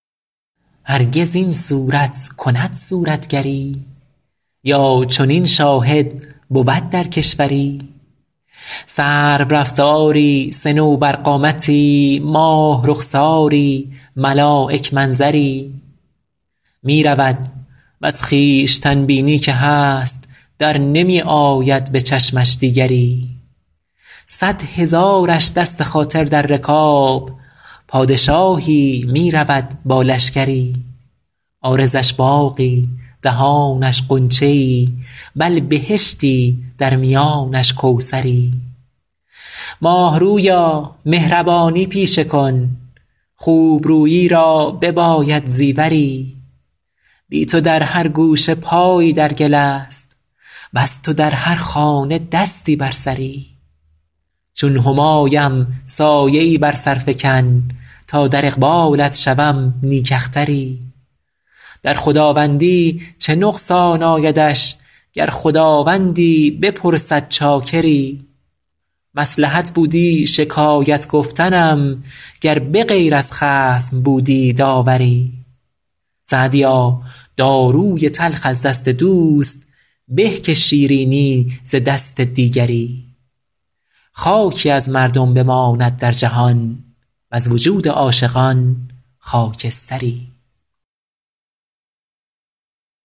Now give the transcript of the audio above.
هرگز این صورت کند صورتگری یا چنین شاهد بود در کشوری سرورفتاری صنوبرقامتی ماه رخساری ملایک منظری می رود وز خویشتن بینی که هست در نمی آید به چشمش دیگری صد هزارش دست خاطر در رکاب پادشاهی می رود با لشکری عارضش باغی دهانش غنچه ای بل بهشتی در میانش کوثری ماه رویا مهربانی پیشه کن خوب رویی را بباید زیوری بی تو در هر گوشه پایی در گل است وز تو در هر خانه دستی بر سری چون همایم سایه ای بر سر فکن تا در اقبالت شوم نیک اختری در خداوندی چه نقصان آیدش گر خداوندی بپرسد چاکری مصلحت بودی شکایت گفتنم گر به غیر از خصم بودی داوری سعدیا داروی تلخ از دست دوست به که شیرینی ز دست دیگری خاکی از مردم بماند در جهان وز وجود عاشقان خاکستری